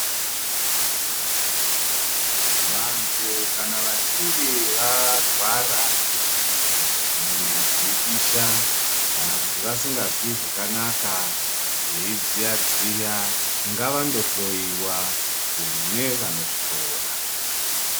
Vantu kana vachinge varwara kana mwiri dzichipisha kana kuti vasingazwi zvakanaka veidziyadziya ngavaende kunohloyiwa kune vanozvikona.